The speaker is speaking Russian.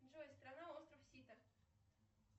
джой страна остров сите